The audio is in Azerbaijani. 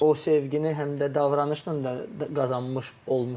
O sevgini həm də davranışla da qazanmış olmuşam.